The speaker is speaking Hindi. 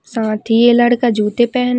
साथ ही ये लड़का जूते पेहन--